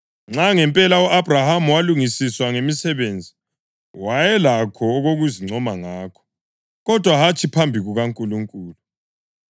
Nxa, ngempela, u-Abhrahama walungisiswa ngemisebenzi, wayelakho okokuzincoma ngakho, kodwa hatshi phambi kukaNkulunkulu.